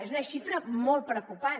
és una xifra molt preocupant